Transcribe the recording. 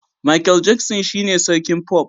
Makel Jaksin shine sarkin fof